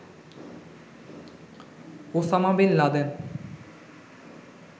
Osama bin Laden